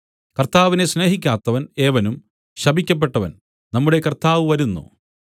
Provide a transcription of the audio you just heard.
കർത്താവിനെ സ്നേഹിക്കാത്തവൻ ഏവനും ശപിക്കപ്പെട്ടവൻ നമ്മുടെ കർത്താവ് വരുന്നു